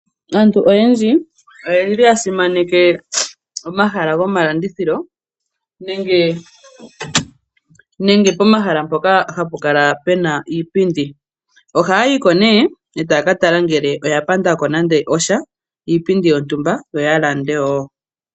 Aantu oyendji oyeli ya simaneke omahala gomalandithilo nenge pomahala mpoka hapu kala pena iipindi. Ohaayi ko nee etaya ka tala ngele oya panda ko nande osha iipindi yontumba yo ya lande wo.